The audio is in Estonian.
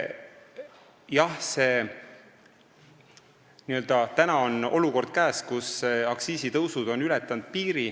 Jah, tänaseks on käes olukord, kus aktsiisitõusud on piiri ületanud.